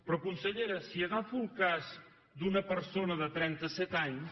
però consellera si agafo el cas d’una persona de trentaset anys